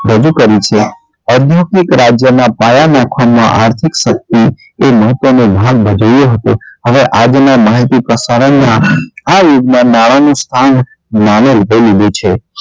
રજુ કરે છે આધુનિક રાજ્ય નાં પાયા નાખવા માં આર્થિક શક્તિએ મહત્વ નો ભાગ ભજવ્યો હતો હવે આજ ના માહિતી પ્રસારણ માં આ યુગ માં સ્થાન માની લીધે લીધું છે